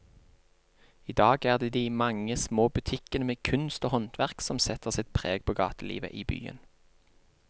I dag er det de mange små butikkene med kunst og håndverk som setter sitt preg på gatelivet i byen.